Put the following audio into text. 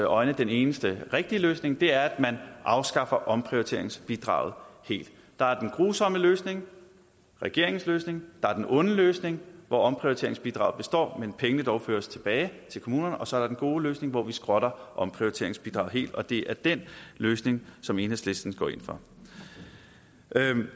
øjne den eneste rigtige løsning det er at man afskaffer omprioriteringsbidraget helt der er den grusomme løsning regeringens løsning der er den onde løsning hvor omprioriteringsbidraget består men pengene dog føres tilbage til kommunerne og så er der den gode løsning hvor vi skrotter omprioriteringsbidraget helt og det er den løsning som enhedslisten går ind for